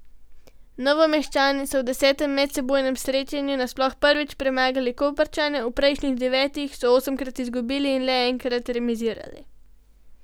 Novomeščani so v desetem medsebojnem srečanju nasploh prvič premagali Koprčane, v prejšnjih devetih so osemkrat izgubili in le enkrat remizirali.